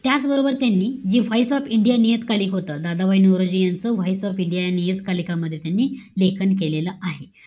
त्याचबरोबर त्यांनी जी vise of india, नियतकालिक होतं. दादाभाई नौरोजी यांचं vise of india, या नियतकालिकामध्ये, त्यांनी लेखन केलेलं आहे.